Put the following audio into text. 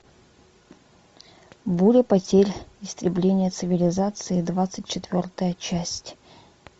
буря потерь истребление цивилизации двадцать четвертая часть